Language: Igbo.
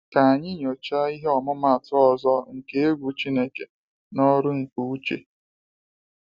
Ka anyị nyochaa ihe ọmụmaatụ ọzọ nke egwu Chineke n’ọrụ nke Uche.